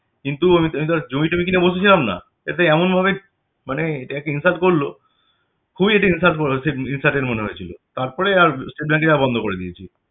কিন্তু আমি তো জমি টমি কিনে বসেছিলাম না তাতে এমন ভাবে মানে bank insult করলো খুব একটা ইন্স~ insulting মনে হয়েছিল তার পরে আর state bank এ যাওয়া বন্ধ করে দিয়েছি